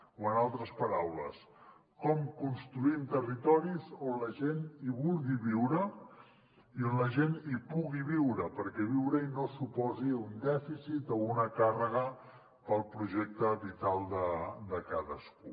o en altres paraules com construïm territoris on la gent vulgui viure i on la gent pugui viure perquè viure hi no suposi un dèficit o una càrrega per al projecte vital de cadascú